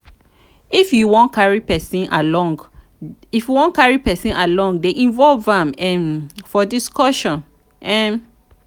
if you wan carry person along dey involve am um for discussion. um